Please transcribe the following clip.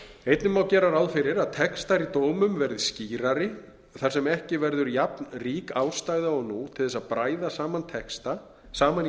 einnig má gera ráð fyrir að textar í dómum verði skýrari þar sem ekki verður jafnrík ástæða og nú til að bræða saman í